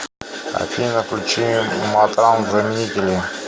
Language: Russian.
афина включи матранг заменители